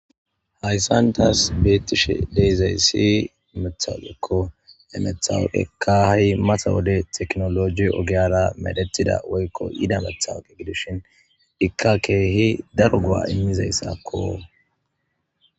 Hayssan tas betishe de'izayssi matawoqekko he matawoqekka hay mata wode tekinoloje ogiyaara medhetida woykko yida matawoqe gidishin ikka keehi daro go'a immizayssakko.